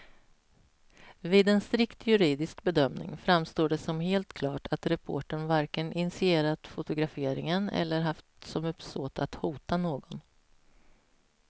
Vid en strikt juridisk bedömning framstår det som helt klart att reportern varken initierat fotograferingen eller haft som uppsåt att hota någon.